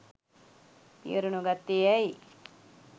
පියවර නොගත්තේ ඇයි